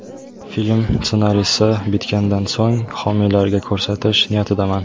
Film ssenariysi bitgandan so‘ng, homiylarga ko‘rsatish niyatidaman.